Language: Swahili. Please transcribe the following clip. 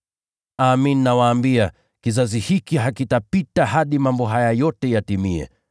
“Amin, nawaambia, kizazi hiki hakitapita hadi mambo haya yote yawe yametimia.